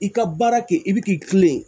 I ka baara kɛ i bi k'i kilen